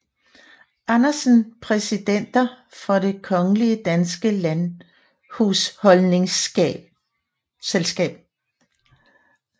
Andersen Præsidenter for Det Kongelige Danske Landhusholdningsselskab